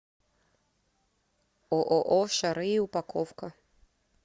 ооо шары и упаковка